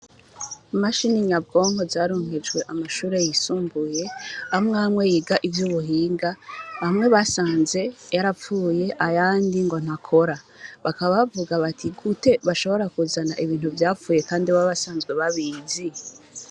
Mashiininyabwonko zarunkejwe amashure yisumbuye amwamwe yiga ivyo ubuhinga hamwe basanze yarapfuye ayandi ngo ntakora bakabavuga bati gute bashobora kuzana ibintu vyapfuye, kandi babasanzwe babizi.